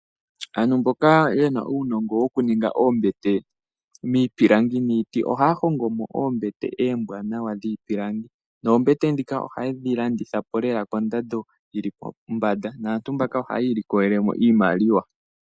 Aantu mboka yena uunongo okuninga oombete miipilangi niiti, ohaahongomo oombete eembwanawa dhiipilangi, noombete dhika ohayedhilandithapo lela kondando yili pombanda. Naantu mbaka ohayiilikolelemo iimaliwa.